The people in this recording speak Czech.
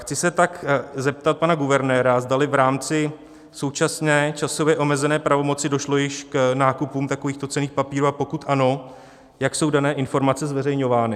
Chci se tak zeptat pana guvernéra, zdali v rámci současné časově omezené pravomoci došlo již k nákupům takovýchto cenných papírů, a pokud ano, jak jsou dané informace zveřejňovány.